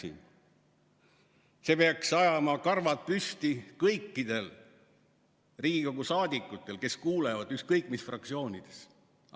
Aga see peaks ajama karvad püsti kõikidel Riigikogu liikmetel, kes kuulevad, ükskõik mis fraktsioonidest nad on.